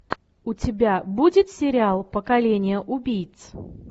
у тебя будет сериал поколение убийц